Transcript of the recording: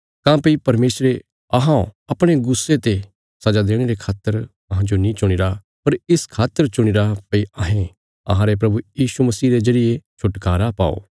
काँह्भई परमेशरे अहौं अपणे गुस्से ते सजा देणे रे खातर अहाजों नीं चुणीरा पर इस खातर चणीरा भई अहें अहांरे प्रभु यीशु मसीह रे जरिये छुटकारा पाओ